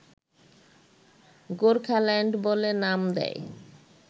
গোর্খাল্যান্ড বলে নাম দেয়